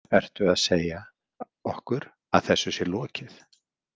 Ertu að segja okkur að þessu sé lokið?